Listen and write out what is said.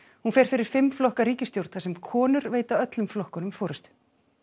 hún fer fyrir fimm flokka ríkisstjórn þar sem konur veita öllum flokkunum forystu